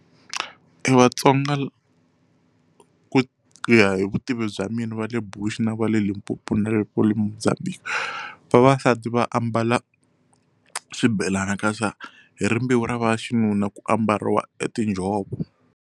Evatsonga ku ya hi vutivi bya mina va le Bush na va le Limpopo na le mozambique vavasati va ambala swibelani kasi hi rimbewu ra va xinuna ku ambariwa etinjhovo.